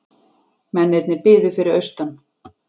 Mennirnir biðu fyrir austan.